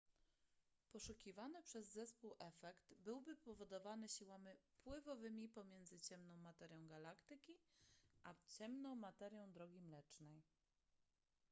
poszukiwany przez zespół efekt byłby powodowany siłami pływowymi pomiędzy ciemną materią galaktyki a ciemną materią drogi mlecznej